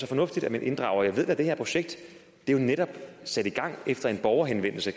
fornuftigt at man inddrager borgere jeg ved at det her projekt netop er sat i gang efter en borgerhenvendelse